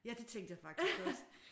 Ja det tænkte jeg faktisk også